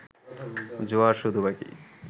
জোয়ার শুধু বাকি